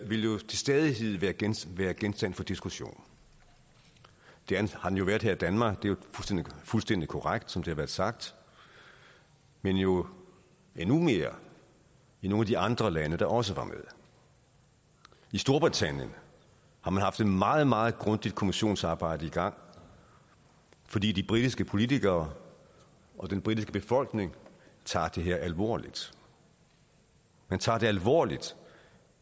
vil jo til stadighed være genstand være genstand for diskussion det har den jo været her i danmark det er jo fuldstændig korrekt som det har været sagt men jo endnu mere i nogle af de andre lande der også var med i storbritannien har man haft et meget meget grundigt kommissionsarbejde i gang fordi de britiske politikere og den britiske befolkning tager det her alvorligt man tager det alvorligt